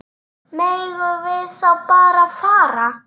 Megum við þá bara fara?